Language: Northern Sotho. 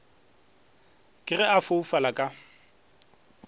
ke ge a foufala ka